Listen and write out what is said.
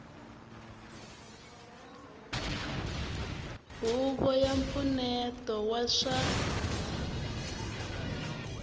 huvo ya mpfuneto wa swa